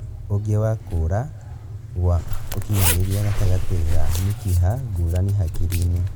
ũngĩ nĩ kũra gwa ũkinyanĩria gatagatĩ ga mĩkiha ngũrani hakiri-inĩ